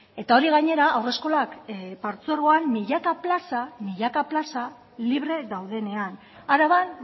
eta hori gainera haurreskolak partzuergoan milaka plaza milaka plaza libre daudenean araban